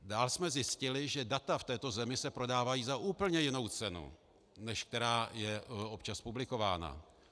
Dál jsme zjistili, že data v této zemi se prodávají za úplně jinou cenu, než která je občas publikována.